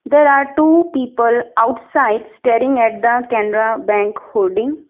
There are two people outside staring at the canara bank hoding.